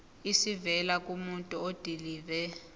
esivela kumuntu odilive